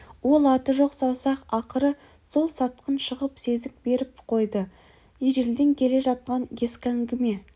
ол аты жоқ саусақ ақыры сол сатқын шығып сезік беріп қойды ежелден келе жатқан ескі әңгіме